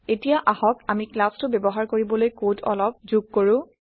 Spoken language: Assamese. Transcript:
এতিয়া আহক আমি ক্লাছটো ব্যৱহাৰ কৰিবলৈ কড অলপ যোগ কৰো